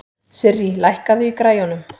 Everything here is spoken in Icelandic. Sirrí, lækkaðu í græjunum.